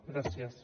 gràcies